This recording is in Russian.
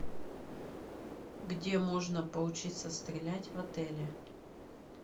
где можно поучиться стрелять в отеле